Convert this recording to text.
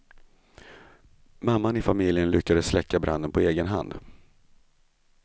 Mamman i familjen lyckades släcka branden på egen hand.